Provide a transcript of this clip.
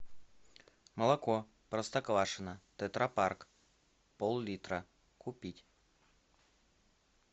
молоко простоквашино тетра пак пол литра купить